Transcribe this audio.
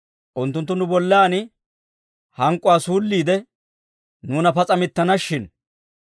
unttunttu nu bollan hank'k'uwaa suulliide, nuuna pas'a mittana shin.